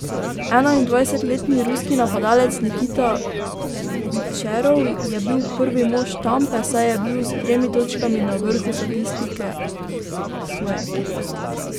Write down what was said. Enaindvajsetletni ruski napadalec Nikita Kučerov je bil prvi mož Tampe, saj je bil s tremi točkami na vrhu statistike svoje ekipe.